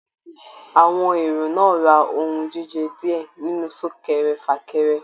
Àwọn èrò náà rà ohùn jíjẹ diẹ nínú sunkẹ́rẹ́-fakẹ́rẹ́.